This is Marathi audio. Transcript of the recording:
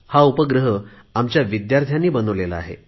हा उपग्रह आमच्या विद्यार्थ्यांनी बनवलेला आहे